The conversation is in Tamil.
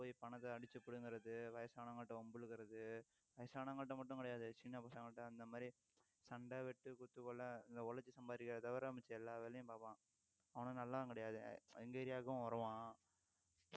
போய் பணத்தை அடிச்சு புடுங்கிறது வயசானவங்ககிட்ட வம்பிழுக்கிறது வயசானவங்ககிட்ட மட்டும் கிடையாது சின்ன பசங்ககிட்ட அந்த மாதிரி சண்டை, வெட்டு, குத்து, கொலை, இந்த உழைச்சு சம்பாதிக்கிறதை தவிர மத்த எல்லா வேலையும் பார்ப்பான் அவனும் நல்லவன் கிடையாது எங்க area வுக்கும் வருவான்